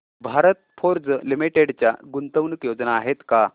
Bharat Forge Limited च्या गुंतवणूक योजना आहेत का